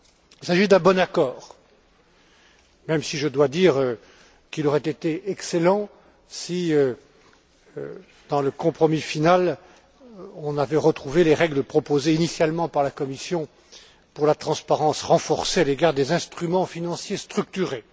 Il s'agit d'un bon accord, même si je dois dire qu'il aurait été excellent si, dans le compromis final, on avait retrouvé les règles proposées initialement par la Commission pour la transparence renforcée à l'égard des instruments financiers structurés.